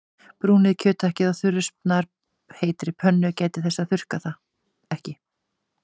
Brúnið kjöthakkið á þurri snarpheitri pönnu- gætið þess að þurrka það ekki.